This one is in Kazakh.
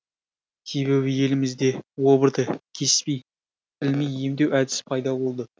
себебі елімізде обырды кеспей тілмей емдеу әдісі пайда болды